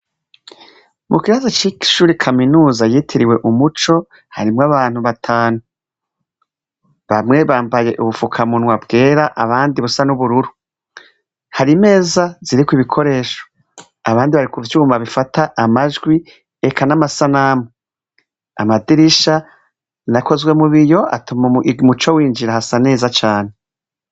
Mukibaza c'ishure kaminuza yitiriwe umuco harimwo abantu batanu, bamwe bambaye ubufukamunwa bwera abandi busa n'ubururu har'imeza ziriko ibikoresho abandi bari kuvyuma bifata amajwi eka n'amasanamu, amadirisha akozwe mubiyo atuma umuco winjira hasa neza cane.